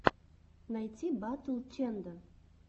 найти батл ченда